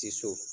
Tiso